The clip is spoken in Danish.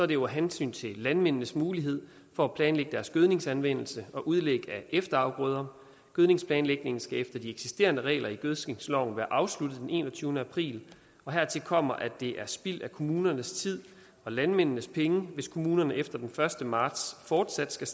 det jo af hensyn til landmændenes mulighed for at planlægge deres gødningsanvendelse og udlæg af efterafgrøder gødningsplanlægningen skal efter de eksisterende regler i gødskningsloven være afsluttet den enogtyvende april og hertil kommer at det er spild af kommunernes tid og landmændenes penge hvis kommunerne efter den første marts fortsat skal